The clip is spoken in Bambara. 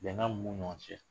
Bɛn mun b'u ni ɲɔgɔn cɛ